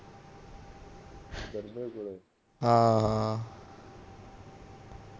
ਹਾਂ